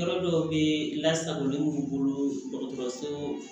Yɔrɔ dɔw bɛ lasagolenw bolo dɔgɔtɔrɔso